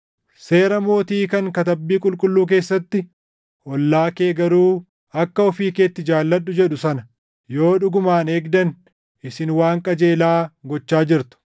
Seera mootii kan Katabbii Qulqulluu keessatti, “Ollaa kee garuu akka ofii keetti jaalladhu” + 2:8 \+xt Lew 19:18\+xt* jedhu sana yoo dhugumaan eegdan isin waan qajeelaa gochaa jirtu.